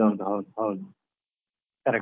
ಹೌದು ಹೌದು ಹೌದು correct .